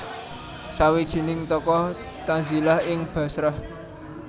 Sawijining tokoh tazilah ing Bashrah